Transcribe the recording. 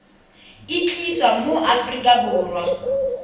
e tliswa mo aforika borwa